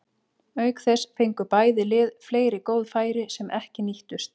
Auk þess fengu bæði lið fleiri góð færi sem ekki nýttust.